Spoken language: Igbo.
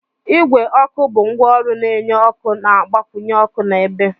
Igwe ọkụ bụ ngwaọrụ na-enye ọkụ na-agbakwunye ọkụ na ebe